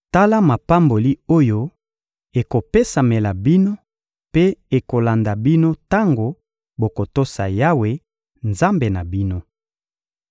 Tala mapamboli oyo ekopesamela bino mpe ekolanda bino tango bokotosa Yawe, Nzambe na bino: